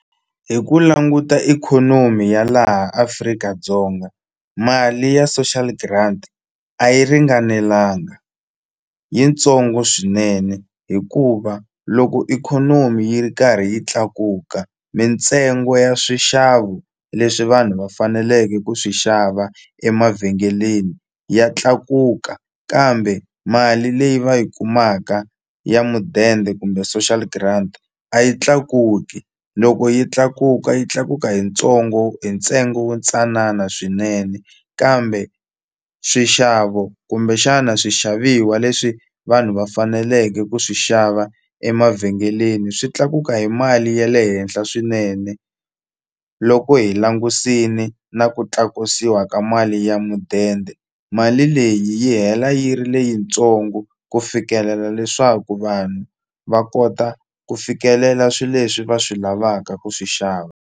Hi ku languta ikhonomi ya laha Afrika-Dzonga mali ya social grant a yi ringanelanga yitsongo swinene hikuva loko ikhonomi yi ri karhi yi tlakuka mintsengo ya swixavo leswi vanhu va faneleke ku swi xava emavhengeleni ya tlakuka kambe mali leyi va yi kumaka ya mudende kumbe social grant a yi tlakuki loko yi tlakuka yi tlakuka hi ntsongo hi ntsengo wu ntsanana swinene kambe swixavo kumbexana swixaviwa leswi vanhu va faneleke ku swi xava emavhengeleni swi tlakuka hi mali ya le henhla swinene loko hi langusini na ku tlakusiwa ka mali ya mudende mali leyi yi hela yi ri leyitsongo ku fikelela leswaku vanhu va kota ku fikelela swi leswi va swi lavaka ku swi xava.